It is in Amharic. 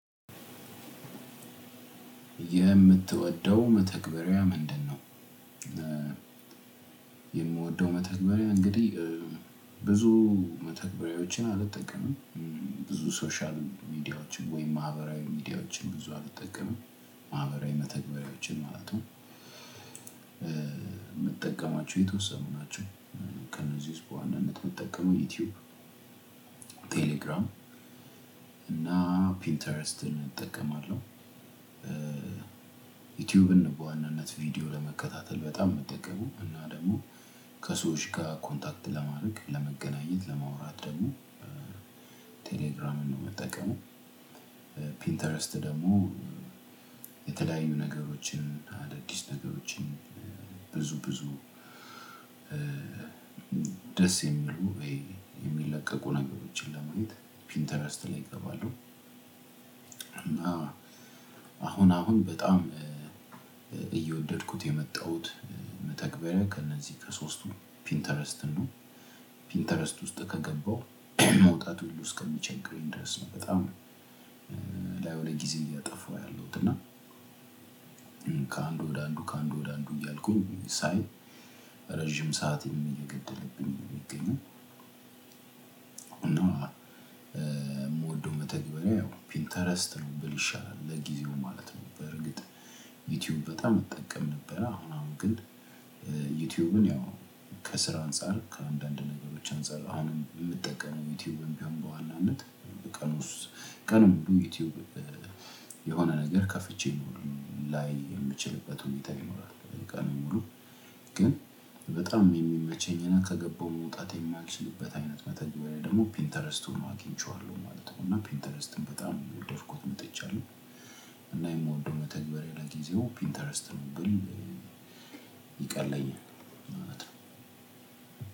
የምትወደው መተግበሬ ምድነው? የምወደው መተግበሬ እንግዲህ ብዙ መተግበሬወችን አልጠቀምም። ብዙ ሶሻል ሚዲያወችን ወይም ማህበራዊ ሚዲያወችን ብዙ አልጠቀምም ማህበራዊ በተግበሬወችን ማለት ነው። የምጠቀማቸው የተወሰኑ ናቸው። ከነዚህ ውስጥ በዋናነት የምጠቀመው ዩቲዩብ ቴሌግራም እና ፒንተረስትን እጠቀማለሁ። ዩቲዩብን በዋናነት ቪዲዮ ለመከታተል በጣም ነው የምጠቀመው እና ደግሞ ከሰዎች ጋር ኮንታክት ለማድረግ ለመገናኘት ለማውራት ደግሞ ቴሌግራምን ነው የምጠቀመው። ፒንተረስት ደግሞ የተለያዩ ነገሮችን አዳዲስ ነገሮችን ብዙ ብዙ ደስ የሚሉ የሚለቀቁ ነገሮችን ለማት ፒንተረስት ላይ እገባለሁ። እና አሁን አሁን በጣም እየወደድኩት የመጣሁት መተግበሪያ ከእነዚህ ከሶስቱ ፒንተረስትን ነው ፒንተረስት ውስጥ ከገባው መውጣቱሉ እስከሚቸግረኝ ድረስ ነው በጣም ላዩ ላይ ጊዜ እያጠፋው ያለሁት እና ከአንዱ ወደ አንዱ ከአንዱ ወደ አንዱ እያልኩ ሳይ ረጅም ሰዓት እየገደለብኝ ነው የሚገኘው። እንደው የምወደው መተግበር ያው ፒንተረስት ነው ብል ይሻላል ለጊዜው ማለት ነው። በርግጥ ዩቲዩብ በጣም እጠቀም ነበረ አሁን አሁን ግን ዩቲዩብን ያው ከስራ አንፃር ከአንዳንድ ነገሮች አንፃር አሁንም የምጠቀመው ዩቲዩብን በዋናነት። ቀኑንሙሉ ዩቲዩብ የሆነ ነገር ከፍቼ ላይ የምችልበት ሁኔታ ይኖራል በደቂቃ ነው የሚሞሉ ግን በጣም የሚመቸኝና ከገባው መውጣት የማልችልበት አይነት መተግበሬ ደግሞ ፒንተረስቱን አግኝቼዋለሁ ማለት ነው። እና ፒንተረስትን በጣም እየወደድኩት መጥቻለሁ። እና የምወደው መተግበሬ ለጊዜው ፒንተረስት ነው ብል ይቀለየናል ምክንያቱም ነው።